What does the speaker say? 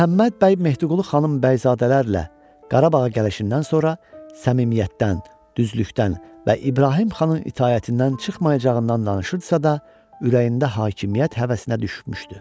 Məhəmməd bəy Mehdiqulu xanın bəyzadələrlə Qarabağa gəlişindən sonra səmimiyyətdən, düzlükdən və İbrahim xanın itaətindən çıxmayacağından danışırdısa da ürəyində hakimiyyət həvəsinə düşmüşdü.